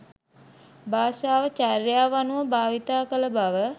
භාෂාව චර්යාව අනුව භාවිත කළ බව